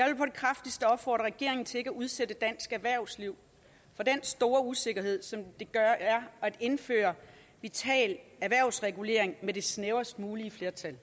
det kraftigste opfordre regeringen til ikke at udsætte dansk erhvervsliv for den store usikkerhed som det er at indføre vital erhvervsregulering med det snævrest mulige flertal